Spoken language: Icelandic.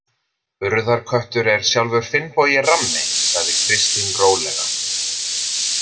Urðarköttur er sjálfur Finnbogi rammi, sagði Kristín rólega.